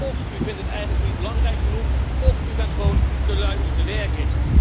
Óf u vindt het eigenlijk niet belangrijk genoeg, óf u bent gewoon te lui om te werken.